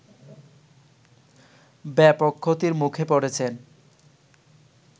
ব্যাপক ক্ষতির মুখে পড়েছেন